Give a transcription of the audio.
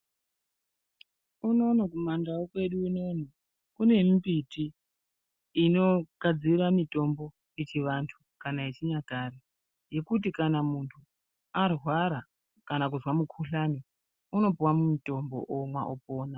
Unono Kuma ndau kwedu unono kune mimbiti inogadzira mutombo yechivantu kana yechinyakare yekuti kana muntu arwara kama kuzwa mukhuhlane unopuwa mutombo omwa opona.